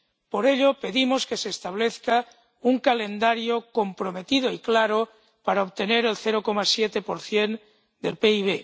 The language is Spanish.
Por ello, pedimos que se establezca un calendario comprometido y claro para obtener el 0,7 del PIB.